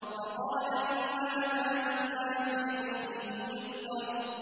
فَقَالَ إِنْ هَٰذَا إِلَّا سِحْرٌ يُؤْثَرُ